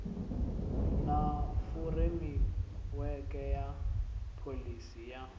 na furemiweke ya pholisi ya